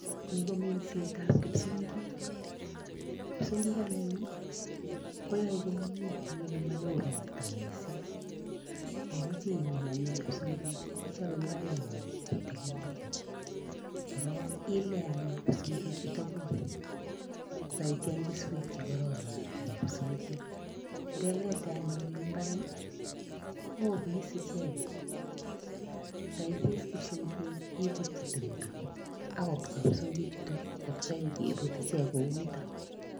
Ni ko mindset ab kipsiongiik kipsiongiik anyuun ii koyae komyei en ole mawoo roptaa missing ingimachei imiin anyuun psiongik ichape mbaret ngung kotililit korog Ile aany psiongik chu ka guug ko kaicheeng kesuek che kororon chebo psiongik, ye Lete anyuun en mbaret kobois ichegeet ye ibis psiongik ibutyii tumdo ako kobwa psiongik chutoon koot koyaam kebuut.